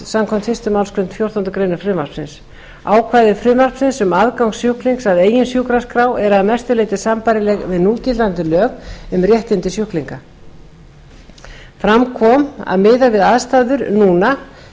samkvæmt fyrstu málsgrein fjórtándu greinar frumvarpsins ákvæði frumvarpsins um aðgang sjúklings að eigin sjúkraskrá eru að mestu leyti sambærileg við núgildandi lög um réttindi sjúklinga fram kom að miðað við aðstæður núna